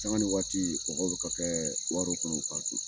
Sanga ni waati kɔgɔ be ka kɛ warow kɔnɔ ka ton.